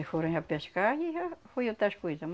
E foram já pescar e já foi outras coisas.